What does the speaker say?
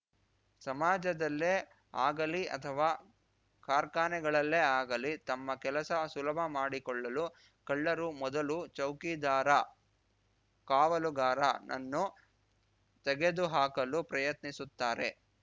ಸಮಾಜದಲ್ಲೇ ಆಗಲೀ ಅಥವಾ ಕಾರ್ಖಾನೆಗಳಲ್ಲೇ ಆಗಲಿ ತಮ್ಮ ಕೆಲಸ ಸುಲಭ ಮಾಡಿಕೊಳ್ಳಲು ಕಳ್ಳರು ಮೊದಲು ಚೌಕಿದಾರ ಕಾವಲುಗಾರನನ್ನು ತೆಗೆದುಹಾಕಲು ಪ್ರಯತ್ನಿಸುತ್ತಾರೆ